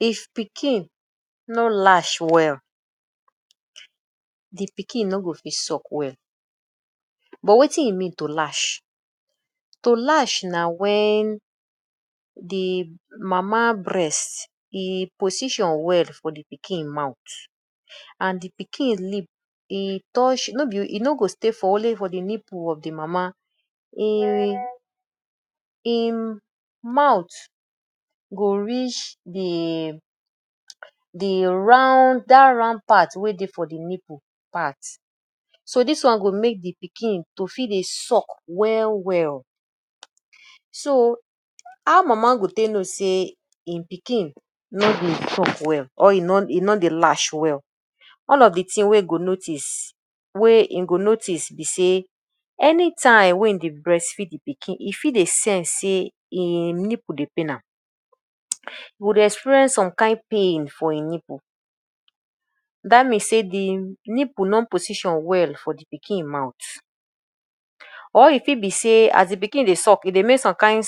If pikin no latch well, de pikin no go fit suck well. But wetin e mean to latch? To latch na wen de mama breast e position well for de pikin mouth and de pikin lip e touch no be e no go stay for only for the nipple of de mama im im mouth go reach de de round dat round part wey dey for de nipple part. So dis one go make de pikin to fit dey suck well well. So how mama go take know sey im pikin no dey suck well or e no e no dey latch well? All of de thing wey im go notice wey im go notice be sey anytime wey im dey breast feed de pikin e fit dey sense sey im nipple dey pain am, e go dey experience some kain pain for im nipple. Dat mean sey de nipple no position well for de pikin mouth or e fit be sey as de pikin dey suck, e dey make some kain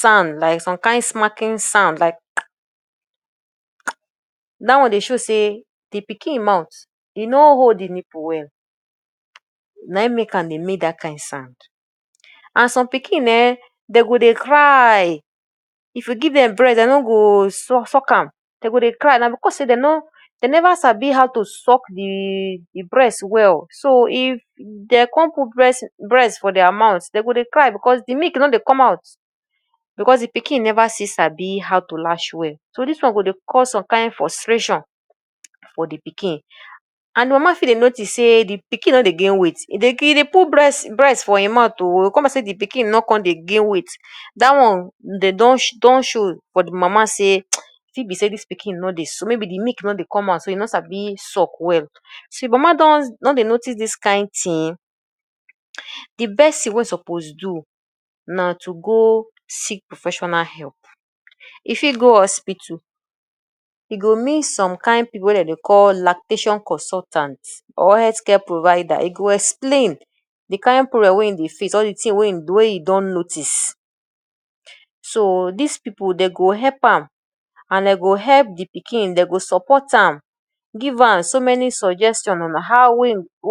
sound like some kain smacking sound like. Dat one dey show say the pikin mouth, e no hold de nipple well, na im make am dey make that kind sound. And some pikin um dem go dey cry, if you give dem breast dey no go suck am dey go dey cry. Na because say dem no dem never sabi how to suck de de breast well. So if dey come put breast breast for their mouth, dey go dey cry because de milk no dey come out, because de pikin never still sabi how to latch well. So dis one go dey cause some kain frustration for de pikin. And mama fit dey notice sey de pikin no dey gain weight, e dey put breast breast for im mouth oo but come be like sey de pikin no come dey gain weight. Dat one dey don don show for de mama sey e fit be sey dis pikin no dey maybe de milk no dey come out, so e no sabi suck well. See mama don dey notice dis kain thing, de best thing wey e suppose do na to go seek professional help. E fit go hospital, e go meet some kain people wey dey dey call lactation consultant or health care provider. E go explain de kain problem wey im dey face or de thing wey e wey e don notice. So dis people dey go help am and dey go help de pikin dey go support am, give am so many suggestion on how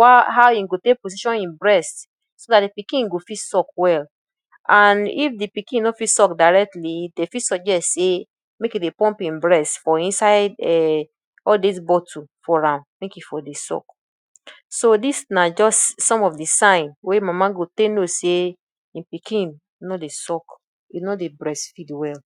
how e go take position im breast so dat de pikin go fit suck well. And if de pikin no fit suck directly dey fit suggest sey make you dey pump im breast for inside um all dis bottle for am make e for dey suck. So dis na just some of de sign wey mama go take know sey im pikin no dey suck, e no dey breast feed well.